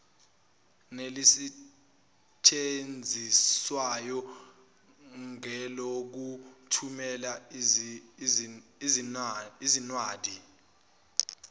nelisetshenziswayo ngelokuthumela izinwadi